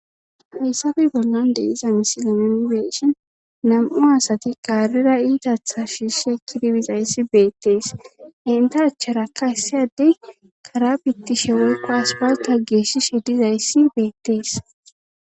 heyssafe bollan deiza misileminzeshon nam7u asati qaarira iidatha shiisse kidibizayssi beettees inta achcharakka hissiyadey karabittishe wolqaas balka geeshshishe dizayssi beettees